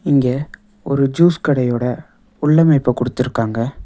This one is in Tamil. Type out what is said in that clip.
இங்க ஒரு ஜூஸ் கடையோட உள் அமைப்ப குடுத்துர்காங்க.